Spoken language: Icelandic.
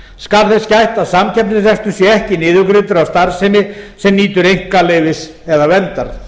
skal þess gætt að samkeppnisrekstur sé ekki niðurgreiddur af starfsemi sem nýtur einkaleyfis eða verndar